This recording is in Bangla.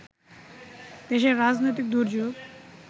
দেশের রাজনৈতিক দুর্যোগ